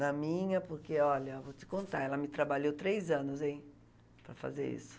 na minha, porque, olha, vou te contar, ela me trabalhou três anos, hein, para fazer isso.